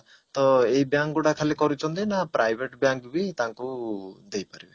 ତ ଏଇ bank ଗୁଡା ଖାଲି କରୁଛନ୍ତି ନା private bank ବି ତାଙ୍କୁ ଦେଇପାରିବେ?